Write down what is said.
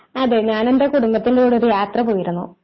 അതോ ഞാൻ എന്റെ കുടുംബത്തിന്റെ കൂടെ ഒരു യാത്ര പോയിരുന്നു.